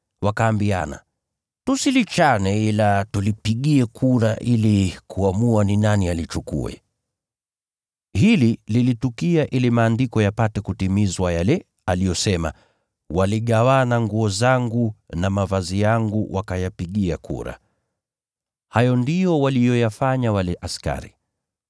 Wakaambiana, “Tusilichane ila tulipigie kura ili kuamua ni nani atalichukua.” Hili lilitukia ili Maandiko yapate kutimizwa yale yaliyosema, “Wanagawana nguo zangu, na vazi langu wanalipigia kura.” Hayo ndiyo waliyoyafanya wale askari.